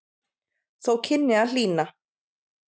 Þó kynni að hlýna.